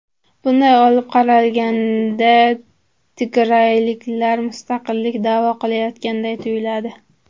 Bunday olib qaralganda tigrayliklar mustaqillikni da’vo qilayotganday tuyuladi.